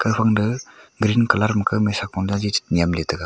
gaphang da green colour makha maisa konda ji che nyemley taiga.